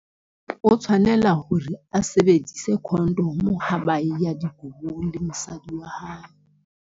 O tshwanela hore a sebedise condom-o ha ba e ya dikobong le mosadi wa hae.